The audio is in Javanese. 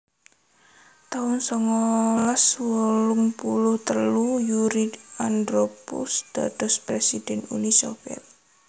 taun songolas wolung puluh telu Yuri Andropov dados presiden Uni Soviet